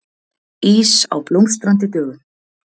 Ís á Blómstrandi dögum